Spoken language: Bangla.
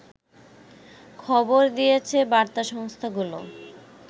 খবর দিয়েছে বার্তা সংস্থাগুলো